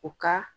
U ka